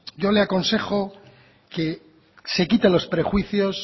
yo le aconsejo que se quite los prejuicios